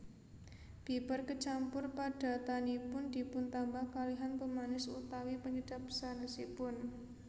Bibar kecampur padatanipun dipuntambah kalihan pemanis utawi penyedap sanèsipun